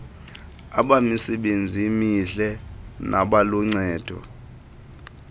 abamisebenzi mihle nabaluncedo